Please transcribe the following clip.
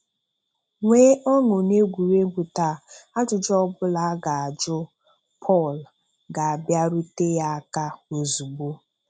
Nwee ọṅụ n'egwuregwu taa, ajụjụ ọbụla a ga-ajụ Pọl ga-abiarute ya aka ozugbo.